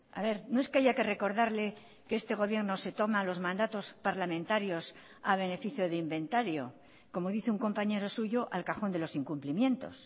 a ver no es que haya que recordarle que este gobierno se toma los mandatos parlamentarios a beneficio de inventario como dice un compañero suyo al cajón de los incumplimientos